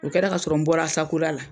U kɛra ka sɔrɔ n bɔra ASACODA la